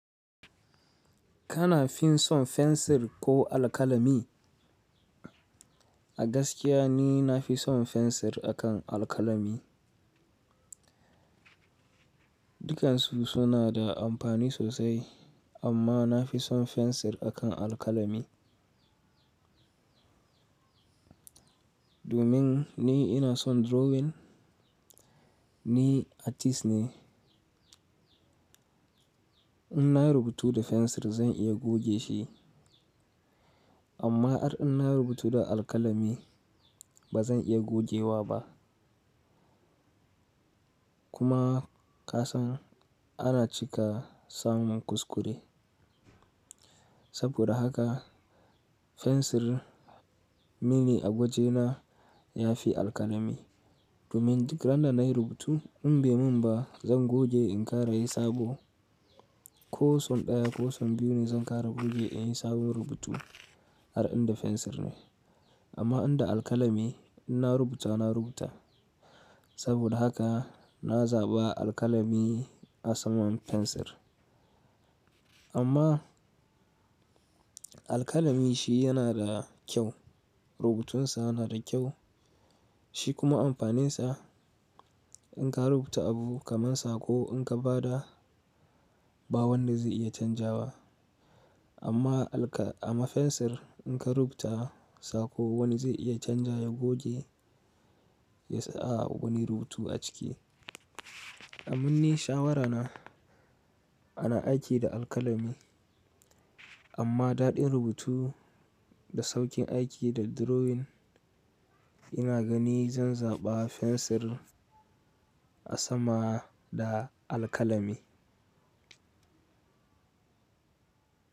Kana fin son fensir ko alkalami? A gaskiya ni nafi son fensir akan alkalami. Dukansu suna da amfani sosai, amma nafi son fensir akan alkalami. Domin ni ina son drawing, ni artist ne. Innayi rubutu da fensir zan iya goge shi amma har in nayi rubutu da alkalami ba zan iya gogewa ba. Kuma, kasan ana cika samun kuskure saboda haka fensir mini a gwajena, ya fi alkalami. Domin duk iranda nayi rubutu in bai mun ba, zan goge in karayi sabo. Ko son daya ko son biyu ne, zan kara in goge inyi sabon rubutu, har inda fensir ne amma in da alkalami inna rubuta na rubuta, saboda haka na zaɓa alkalami a saman fensir. Amma alkalami shi yana da kyau rubutun sa na da kyau shi kuma amfaninsa in ka rubuta abu kaman sako in ka bada ba wanda zai iya canjawa. Amma ana fensir in ka rubuta sako wani zai iya canjawa ya goge ya saka wani rubutu a ciki. A ni shawarana ana aiki da alkalami amma daɗin rubutu da sauƙin aiki da drawing ina gani zan zaɓa fensir a sama da alkalami.